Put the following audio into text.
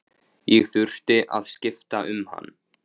Ég þurfti að skipta um hann.